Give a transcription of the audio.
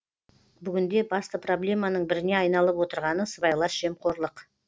бүгінде басты проблеманың біріне айналып отырғаны сыбайлас жемқорлық